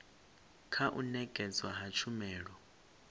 kha u nekedzwa ha tshumelo